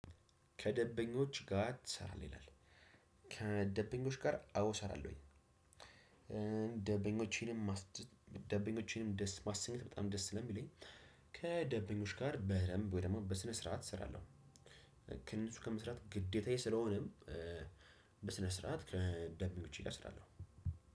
ከደንበኞች ጋር ትሰራለህ ይላል? ከደንበኞች ጋር አዎ እሰራለሁኝ። ደንበኞችንም ደበኞችንም ደስ ማሰኘት በጣም ደስ ስለሚለኝ። ከደንበኞች ጋር በደንብ ወይ ደግሞ በስነ ስርዓት እሰራለሁ። ከእነሱ ጋር መስራት ግዴታዬ ስለሆነም። በስነ ስርዓት ከደንበኞቸ ጋር እሰራለው።